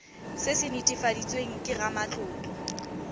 se se netefaditsweng ke ramatlotlo